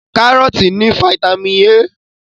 Kárọ́tì ní fataímìn A.